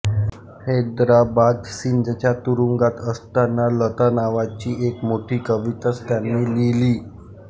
हैदराबाद सिंधच्या तुरुंगात असताना लता नावाची एक मोठी कविताच त्यांनी लिहिली